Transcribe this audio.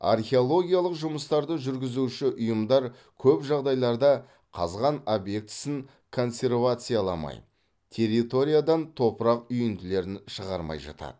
археологиялық жұмыстарды жүргізуші ұйымдар көп жағдайларда қазған объектісін консервацияламай территориядан топырақ үйінділерін шығармай жатады